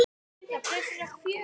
En myndin.